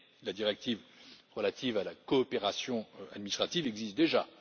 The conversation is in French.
Mais la directive relative à la coopération administrative existe déjà.